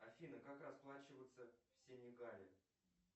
афина как расплачиваться в сенегале